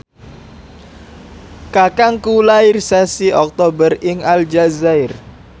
kakangku lair sasi Oktober ing Aljazair